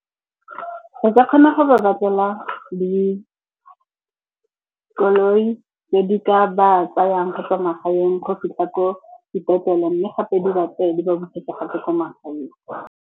Re ka kgona go ba batlela dikoloi tse di ka ba tsayang go tswa magaeng go fitlha ko dipetleleng, mme gape di ba tseye di ba busetse gape kwa magaeng.